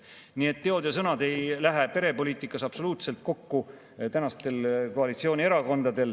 Nii et koalitsioonierakondade teod ja sõnad ei lähe perepoliitikas absoluutselt kokku.